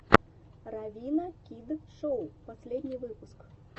равина кид шоу последний выпуск